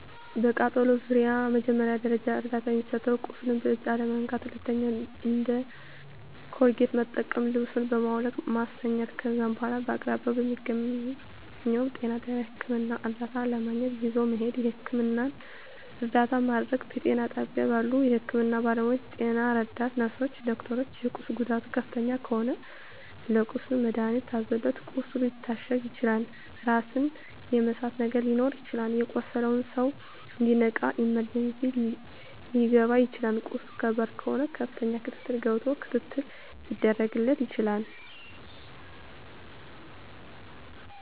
በቃጠሎ ዙሪያ መጀመሪያ ደረጃ እርዳታ የሚሰጠዉ ቁስሉን በእጅ አለመንካት ሁለተኛዉ እንደ ኮልጌት መጠቀም ልብሱን በማዉለቅ ማስተኛት ከዛ በኋላ በአቅራቢያዎ በሚገኘዉ ጤና ጣቢያ ህክምና እርዳታ ለማግኘት ይዞ መሄድ የህክምና እርዳታ ማድረግ በጤና ጣቢያ ባሉ የህክምና ባለሞያዎች ጤና ረዳት ነርስሮች ዶክተሮች የቁስሉ ጉዳት ከፍተኛ ከሆነ ለቁስሉ መድሀኒት ታዞለት ቁስሉ ሊታሸግ ይችላል ራስን የመሳት ነገር ሊኖር ይችላል የቆሰለዉ ሰዉ እንዲነቃ ኢመርጀንሲ ሊከባ ይችላል ቁስሉ ከባድ ከሆነ ከፍተኛ ክትትል ገብቶ ክትትል ሊደረግ ይችላል